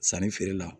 Sannifeere la